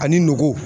Ani ngɔgo